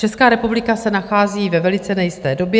Česká republika se nachází ve velice nejisté době.